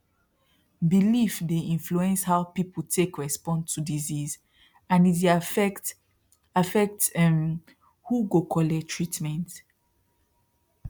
belief dey influence how people take respond to disease and e dey affect affect um who go collect treatment